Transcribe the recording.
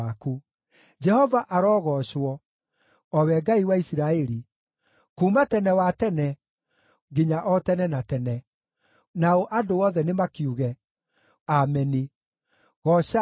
Jehova arogoocwo, o we Ngai wa Isiraeli, kuuma tene wa tene, nginya o tene na tene. Nao andũ othe nĩmakiuge, “Ameni!” Goocai Jehova.